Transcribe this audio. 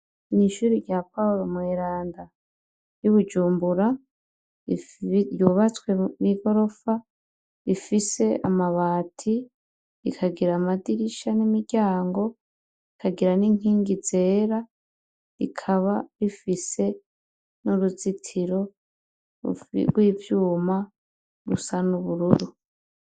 Mw'ishure rya Paul Mweranda ry'i Bujumbura, ryubatswe n'igorofa, rifis'amabati, rikagir'amadirisha n'imiryango, rikagira n inkingi zera rikaba rifise n uruzitiro rw'ivyuma rusa n' ubururu.